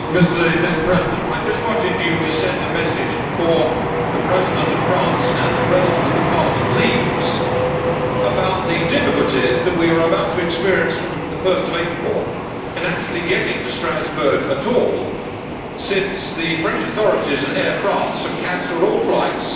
Mr President, I just wanted to send a message, before the President of France and the President of the Parliament leave, about the difficulties that we are about to experience from 1 April in actually getting to Strasbourg at all, since the French authorities and Air France have cancelled all flights